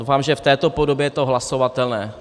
Doufám, že v této podobě je to hlasovatelné.